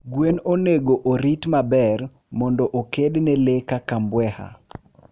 gwen onego orit maber mondo okedne lee kaka mbweha